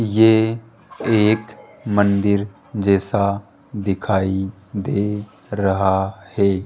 ये एक मंदिर जैसा दिखाई दे रहा है।